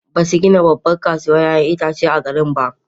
Ba su gina babbar kasuwar 'ya'yan itace a garin ba.